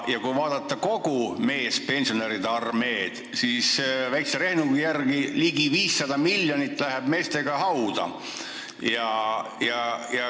Ja kui vaadata kogu meespensionäride armeed, siis väikse rehnungi järgi läheb ligi 500 miljonit eurot koos meestega hauda.